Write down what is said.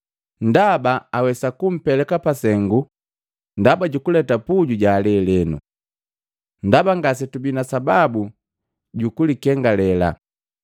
Ndaba awesa kupeleka pasengu ndaba jukuleta puju jalelenu. Ndaba ngasetubii na sababu jukulikengalela.”